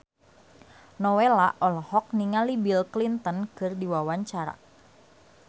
Nowela olohok ningali Bill Clinton keur diwawancara